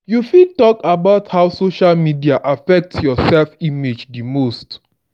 you fit talk about how social media affect your self-image di most.